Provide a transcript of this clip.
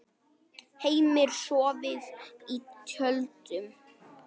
Heimir: Sofið í tjöldum?